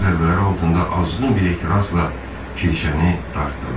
Ağır zərbələri altında azğın bir etirazla kirişəni dartdılar.